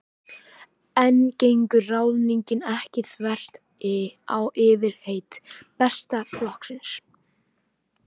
En gengur ráðningin ekki þvert á fyrirheit Besta flokksins?